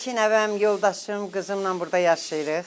İki nəvəm, yoldaşım, qızımnan burda yaşayırıq.